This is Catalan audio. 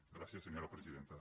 gràcies senyora presidenta